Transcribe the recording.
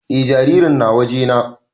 E jaririn na waje na